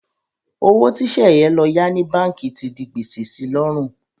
Owó tí Sẹ̀yẹ lọ yá ní báǹkì ti di gbèsè si lọ́rùn.